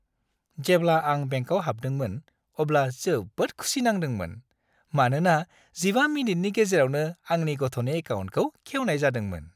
जेब्ला आं बेंकाव हाबदोंमोन अब्ला जोबोद खुसि नांदोंमोन, मानोना 15 मिनिटनि गेजेरावनो आंनि गथ'नि एकाउन्टखौ खेवनाय जादोंमोन।